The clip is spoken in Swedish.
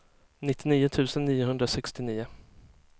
nittionio tusen niohundrasextionio